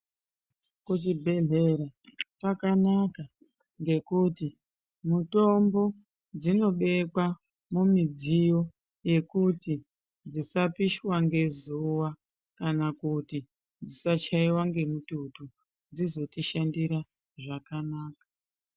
Ku chibhedhlera kwakanaka ngekuti mutombo dzino bekwa mu midziyo yekuti dzisa pishwa ngezuva kana kuti dzisa chaiwa nge mututu dzizoti shandira zvakanaka.